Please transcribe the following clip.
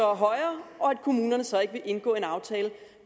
er højere og at kommunerne så ikke vil indgå en aftale